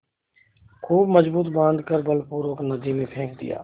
खूब मजबूत बॉँध कर बलपूर्वक नदी में फेंक दिया